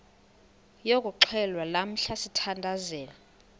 yokuxhelwa lamla sithandazel